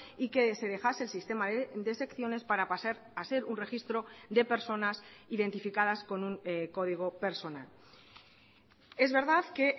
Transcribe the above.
y que se dejase el sistema de secciones para pasar a ser un registro de personas identificadas con un código personal es verdad que